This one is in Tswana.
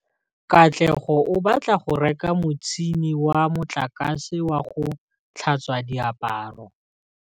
Katlego o batla go reka motšhine wa motlakase wa go tlhatswa diaparo.